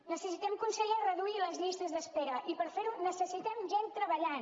necessitem conseller reduir les llistes d’espera i per fer ho necessitem gent treballant